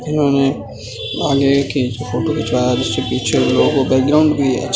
आगे की फोटो खिचवाया है जिससे पीछे बैकग्राउंड भी है।